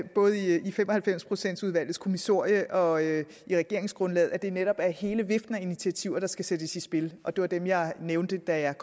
både i fem og halvfems procents udvalgets kommissorium og i regeringsgrundlaget at det netop er hele viften af initiativer der skal sættes i spil og det var dem jeg nævnte da jeg